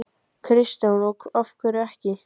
Kristján: Og af hverju ekki?